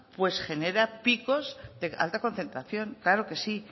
pues genera picos de alta concentración claro que sí